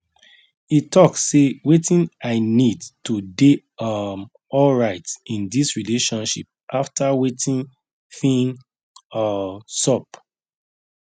e talk sey wetin i need to dey um alright in this relationship after wetin fin um sup